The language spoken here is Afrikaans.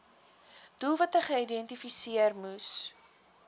doelwitte geïdentifiseer moes